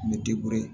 N bɛ